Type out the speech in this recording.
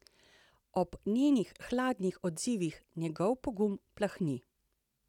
Ob njenih hladnih odzivih njegov pogum plahni.